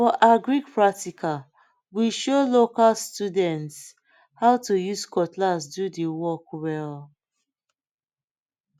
for agric practical we show local students how to use cutlass do the work well